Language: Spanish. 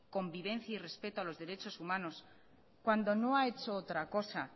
convivencia y respeto a los derechos humanos cuando no ha hecho otra cosa